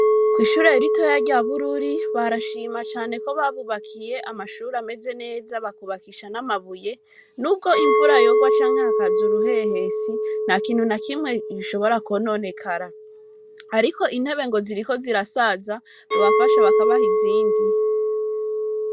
Kw'ishure ritoya, rya Bururi, barashima cane, ko babubakiye amashure, ameze neza, bakubakisha n'amabuye; n'ubwo imvura yogwa, canke hakaza uruhehesi, ntakintu na kimwe, gishobora kwononekara; ariko intebe, ngo ziriko zirasaza, bobafasha, bakabaha izindi.